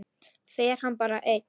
Fer hann bara einn?